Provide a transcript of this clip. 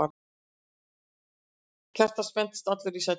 Kjartan spenntist allur í sætinu.